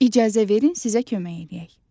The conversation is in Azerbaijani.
İcazə verin sizə kömək eləyək.